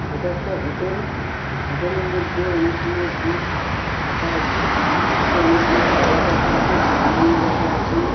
এটা একটা hotel. Hotel এর মধ্যে অনেকগুলো ডিশ রাখা আছে। ডিশ -এ অনেকগুলো খাবার রাখা আছে। চাউমিন রাখা আছে।